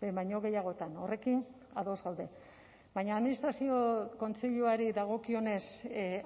behin baino gehiagotan horrekin ados gaude baina administrazio kontseiluari dagokionez